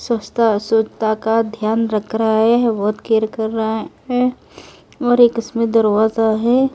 स्वस्था -स्वच्ता का ध्यान रख रहा है बहुत केयर कर रहा है और एक इसमें दरवाजा है।